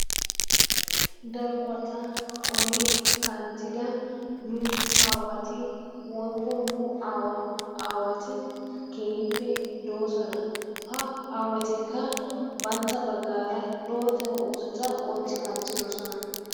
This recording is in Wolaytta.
Darobata oli kanttida nu aawati woykko nu aawaati keehippe doosona. Ha aawatikka bantta bagaara lootta oosota ootti kanttidoosona.